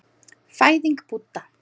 Fæðing Búdda.